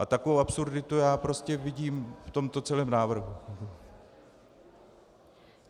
A takovou absurditu já prostě vidím v tomto celém návrhu.